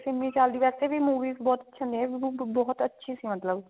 ਸਿੰਮੀ ਚਹਿਲ ਦੀ movies ਵੇਸੇ ਵੀ ਬਹੁਤ ਅੱਛੀ ਹੁੰਦੀਆਂ ਬਹੁਤ ਅੱਛੀ ਸੀ ਮਤਲਬ